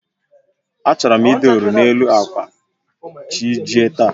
A chọrọ m idọrọ n'elu akwa chi ejie taa